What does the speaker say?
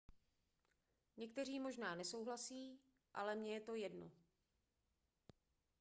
někteří možná nesouhlasí ale mně je to jedno